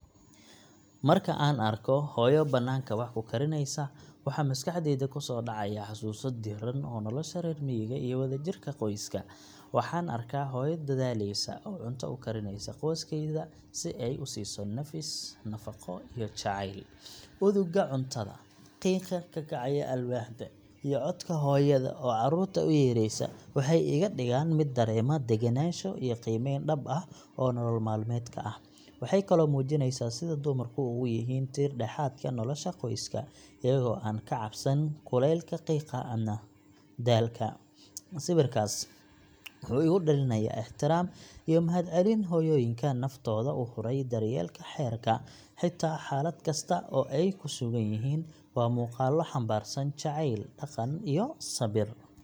Marka aan arko hooyo bannaanka wax ku karinaysa, waxa maskaxdayda ku soo dhacaya xasuuso diirran oo nolosha reer miyiga iyo wadajirka qoyska. Waxaan arkaa hooyo dedaalaysa, oo cunto u karinaysa qoyskeeda si ay u siiso nafis, nafaqo iyo jacayl. Udugga cuntada, qiiqa ka kacaya alwaaxda, iyo codka hooyada oo carruurta u yeeraysa waxay iga dhigaan mid dareema degganaansho iyo qiimeyn dhab ah oo nolol maalmeedka ah. Waxay kaloo muujinaysaa sida dumarku ugu yihiin tiir-dhexaadka nolosha qoyska, iyagoo aan ka cabsan kulaylka, qiiqa ama daalka. Sawirkaas wuxuu igu dhalinayaa ixtiraam iyo mahadcelin hooyooyinka naftooda u huray daryeelka reerka, xitaa xaalad kasta oo ay ku sugan yihiin. Waa muuqaallo xambaarsan jacayl, dhaqan, iyo sabir.